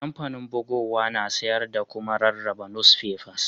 Kampanin bugowa na sayar da kuma rarraba nusfefas.